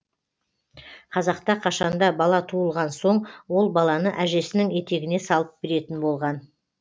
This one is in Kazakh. қазақта қашанда бала туылған соң ол баланы әжесінің етегіне салып беретін болған